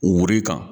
Wuru in kan